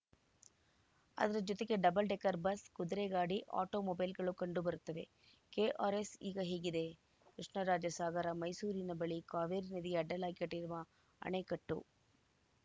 ಅದರ ಜೊತೆಗೆ double decker bus ಕುದುರೆ ಗಾಡಿ ಆಟೋಮೊಬೈಲ್‌ಗಳು ಕಂಡು ಬರುತ್ತವೆ ಕೆಆರ್‌ಎಸ್‌ ಈಗ ಹೇಗಿದೆ ಕೃಷ್ಣರಾಜಸಾಗರ ಮೈಸೂರಿನ ಬಳಿ ಕಾವೇರಿ ನದಿಗೆ ಅಡ್ಡಲಾಗಿ ಕಟ್ಟಿರುವ ಅಣೆಕಟ್ಟು